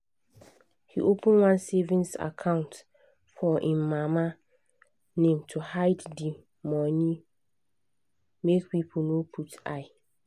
he open one savings account for him mama name to hide the money make people no put eye.